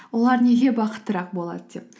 олар неге бақыттырақ болады деп